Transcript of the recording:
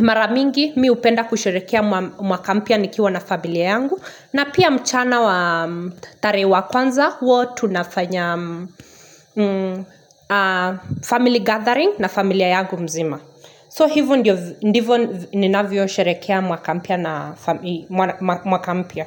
mara mingi mi hupenda kusherehekea mwaka mpya nikiwa na familia yangu na pia mchana wa tarehe wa kwanza, huwa tunafanya family gathering na familia yangu mzima. So hivo ndivo ninavyosherehekea mwaka mpya.